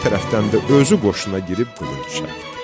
Bir tərəfdən də özü qoşuna girib qılınc çaldı.